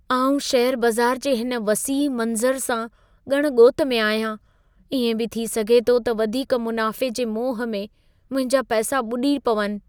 आउं शेयरु बज़ार जे हिन वसीउ मंज़र सां ॻण ॻोत में आहियां। इएं बि थी सघे थो त वधीक मुनाफ़े जे मोह में मुंहिंजा पैसा ॿुॾी पवनि।